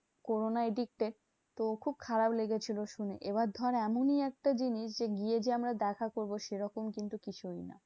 Corona addicted তো খুব খারাপ লেগেছিলো শুনে। এবার ধর এমনি একটা জিনিস যে, গিয়ে যে আমরা দেখা করবো সেরকম কিন্তু কিছু না।